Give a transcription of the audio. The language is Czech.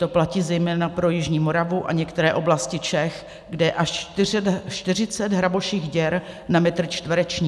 To platí zejména pro jižní Moravu a některé oblasti Čech, kde je až 40 hraboších děr na metr čtvereční.